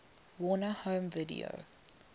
warner home video